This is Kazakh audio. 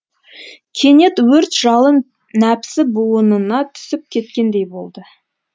кенет өрт жалын нәпсі буынына түсіп кеткендей болды